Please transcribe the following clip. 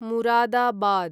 Moradabad